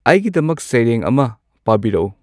ꯑꯩꯒꯤꯗꯃꯛ ꯁꯩꯔꯦꯡ ꯑꯃ ꯄꯥꯕꯤꯔꯛꯎ